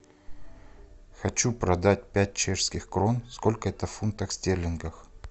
хочу продать пять чешских крон сколько это в фунтах стерлингов